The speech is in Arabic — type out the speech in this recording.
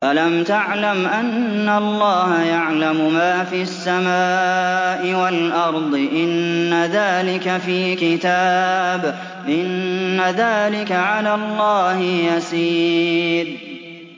أَلَمْ تَعْلَمْ أَنَّ اللَّهَ يَعْلَمُ مَا فِي السَّمَاءِ وَالْأَرْضِ ۗ إِنَّ ذَٰلِكَ فِي كِتَابٍ ۚ إِنَّ ذَٰلِكَ عَلَى اللَّهِ يَسِيرٌ